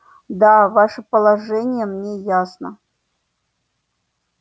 да ваше положение мне ясно